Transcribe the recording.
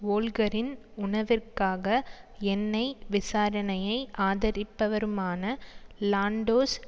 வோல்க்கரின் உணவிற்காக எண்ணெய் விசாரணையை ஆதரிப்பவருமான லான்டோஸ்